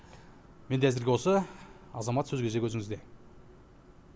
менде әзірге осы азамат сөз кезегі өзіңізде